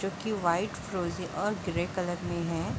जोकी वाइट फ्रोज़े और ग्रे कलर में है।